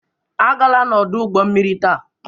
Agala n'ọdụ ụgbọ mmiri taa!